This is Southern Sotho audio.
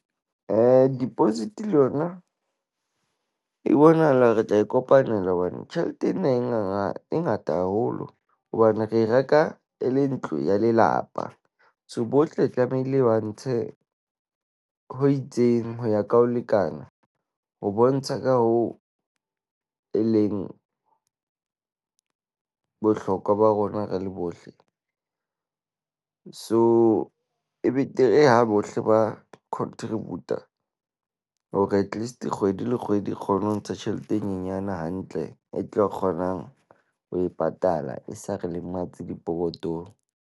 Deposit le yona e bonahala re tla e kopanela hobane tjhelete ena e e ngata haholo. Hobane re reka e le ntlo ya lelapa. So, bohle tlamehile ba ntshe ho itseng ho ya ka ho lekana. Ho bontsha ka ho e leng bohlokwa ba rona re le bohle, so e betere ha bohle ba contributor. Hore at least kgwedi le kgwedi, re kgone ho ntsha tjhelete e nyenyane hantle, e tlo kgonang ho e patala, e sa re lematse dipokotong.